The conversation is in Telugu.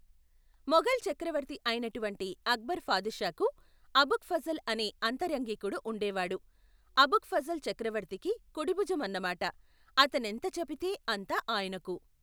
మొఘల్ చక్రవర్తి ఐనటువంటి అక్బరు ఫాదుషాకు అబుక్ ఫజల్ అనే అంతరంగికుడు ఉండేవాడు అబుక్ ఫజల్ చక్రవర్తికి కుడిభుజమన్నమాట అతనెంతచెబితే అంత ఆయనకు.